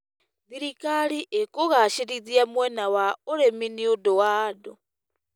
Thirikari ĩkũgacĩrithia mwena wa ũrĩmi nĩ ũndũ wa andũ.